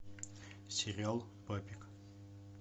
сериал папик